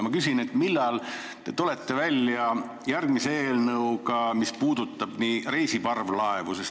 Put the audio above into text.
Ma küsin, millal te tulete välja järgmise eelnõuga, mis puudutab reisiparvlaevu.